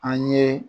An ye